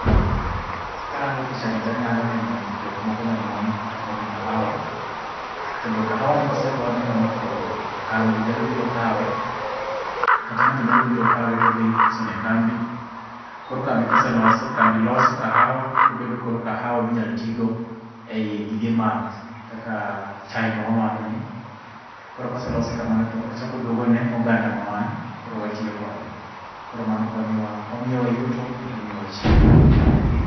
Karango picha ni tanyalo neno jok moko mamon kapono kahawa. Kendo kahawa ni kosepone kama to kambi nyalo biro kawe. Kata ng'ato nyalo biro kaw todhi uso ne kambi. Koro kambi koselose, kambi loso kahawa, obedo koro kahawa minyal tigo ei gige math kaka, chai mawamadho ni. Koro koselose kamano to ochako oduogo ne oganda ma wan, koro watiyo kode. Koro mano konyo wa, omiyowa yuto, kendo omiyowa chiemo